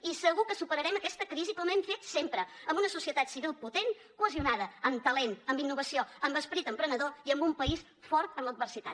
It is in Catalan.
i segur que superarem aquesta crisi com hem fet sempre amb una societat civil potent cohesionada amb talent amb innovació amb esperit emprenedor i amb un país fort en l’adversitat